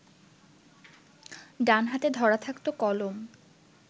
ডান হাতে ধরা থাকত কলম